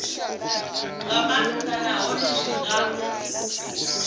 nga maanḓa nahone zwi nga